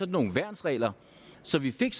nogle værnsregler så vi fik